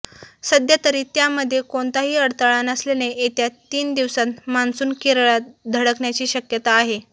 सध्यातरी त्यामध्ये कोणताही अडथळा नसल्याने येत्या तीन दिवसांत मॉन्सून केरळात धडक्याची शक्यता आहे